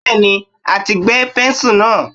Bẹ́ẹ̀ni, a ti gbẹ́ pẹ́ńsù náà.